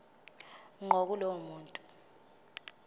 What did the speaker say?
ngqo kulowo muntu